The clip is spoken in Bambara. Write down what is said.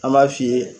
An b'a f'i ye